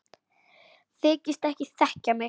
Þykist ekki þekkja mig!